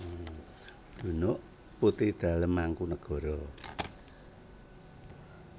Dunuk putri dalem Mangkunagara